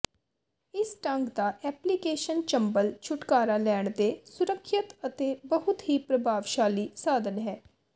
ਇਸ ਢੰਗ ਦਾ ਐਪਲੀਕੇਸ਼ਨ ਚੰਬਲ ਛੁਟਕਾਰਾ ਲੈਣ ਦੇ ਸੁਰੱਖਿਅਤ ਅਤੇ ਬਹੁਤ ਹੀ ਪ੍ਰਭਾਵਸ਼ਾਲੀ ਸਾਧਨ ਹੈ